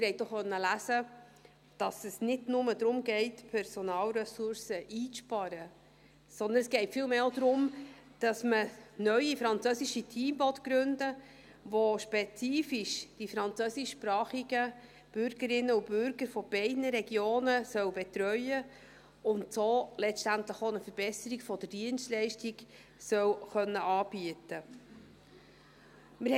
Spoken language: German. Sie konnten auch lesen, dass es nicht nur darum geht, Personalressourcen einzusparen, sondern es geht vielmehr auch darum, dass man neue französische Teams gründen will, die spezifisch die französischsprachigen Bürgerinnen und Bürger von beiden Regionen betreuen sollen und so letztendlich auch eine Verbesserung der Dienstleistung anbieten können sollen.